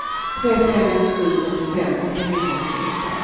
tre fem ett sju fyrtiofem åttahundraåttioåtta